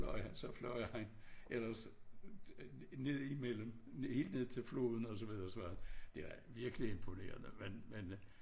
Nåh ja så fløj han ellers ned imellem helt ned til floden og så videre og så videre det var virkelig imponerende men